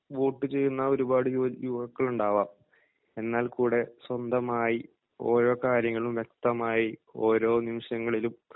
vote ചെയ്യുന്ന ഒരുപാട് യുവ യുവാക്കളുണ്ടാകാം എന്നാൽ കൂടെ സ്വന്തമായി ഓരോ കാര്യങ്ങളും വ്യക്തമായി ഓരോ നിമിഷങ്ങളിലും